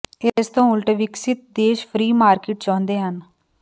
ਇਸ ਤੋਂ ਉਲਟ ਵਿਕਸਤ ਦੇਸ਼ ਫਰੀ ਮਾਰਕੀਟ ਚਾਹੁੰਦੇ ਹਨ